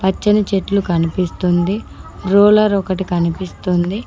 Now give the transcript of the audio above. పచ్చని చెట్లు కనిపిస్తుంది రోలర్ ఒకటి కనిపిస్తుంది.